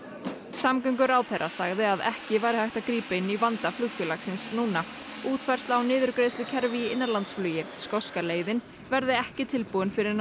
samgönguráðherra sagði að ekki væri hægt að grípa inn í vanda flugfélagsins núna útfærsla á niðurgreiðslukerfi í innanlandsflugi skoska leiðin verði ekki tilbúin fyrr en